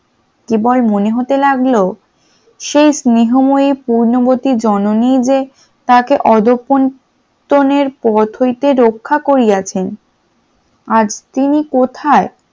কেবল মনে হতে লাগল সেই স্নেহময়ী পূর্ণবতী জননী যে তাকে অধঃপতনের পথ হইতে রক্ষা করিয়াছেন আজ তিনি কোথায়?